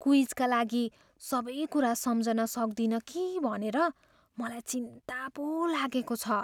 क्विजका लागि सबै कुरा सम्झन सक्दिनँ कि भनेर मलाई चिन्ता पो लागेको छ।